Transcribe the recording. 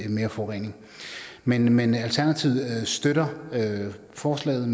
mere forurening men men alternativet støtter forslaget